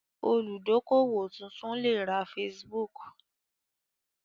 Olùdókówò tuntun lè ra Facebook